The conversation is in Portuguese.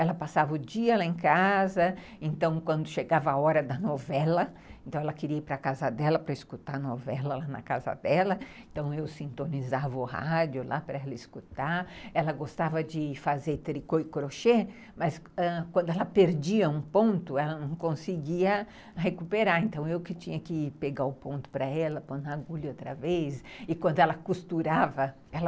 Ela passava o dia lá em casa, então quando chegava a hora da novela, então ela queria ir para casa dela para escutar novela lá na casa dela, então eu sintonizava o rádio lá para ela escutar, ela gostava de fazer tricô e crochê, mas quando ela perdia um ponto, ela não conseguia recuperar, então eu que tinha que pegar o ponto para ela, pôr na agulha outra vez, e quando ela costurava, ela...